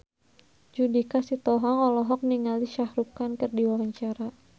Judika Sitohang olohok ningali Shah Rukh Khan keur diwawancara